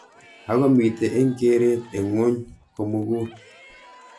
Ako mitei eng keret eng ngwuny komugul.